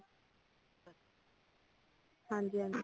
ਹਾਂਜੀ ਹਾਂਜੀ